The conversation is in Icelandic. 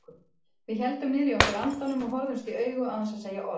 Við héldum niðri í okkur andanum og horfðumst í augu án þess að segja orð.